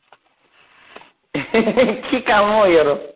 কি কাম অ সহঁতৰ?